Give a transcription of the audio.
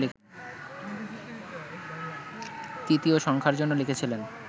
তৃতীয় সংখ্যার জন্য লিখেছিলেন